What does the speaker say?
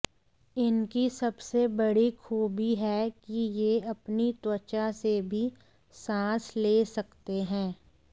इनकी सबसे बड़ी खूबी है कि ये अपनी त्वचा से भी सांस ले सकते हैं